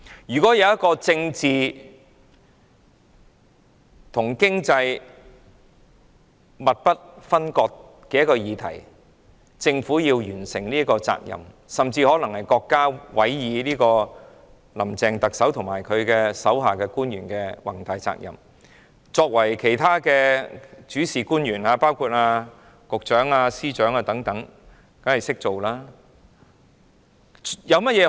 如果有一項政治和經濟密不分割的議題，而政府要完成這項任務——這甚至可能是國家委以特首"林鄭"及其手下官員的宏大任務——其他主事官員，包括局長和司長等，當然會加以配合。